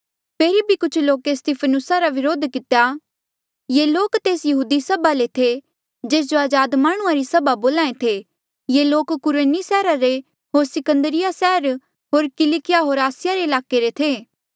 फेरी भी कुछ लोके स्तिफनुसा रा विरोध कितेया ये लोक तेस यहूदी सभा ले थे जेस जो अजाद माह्णुंआं री सभा बोल्हा ऐें थे ये लोक कुरेनी सैहरा रे होर सिकंदरिया सैहर होर किलकिया होर आसिया रे ईलाके ले थे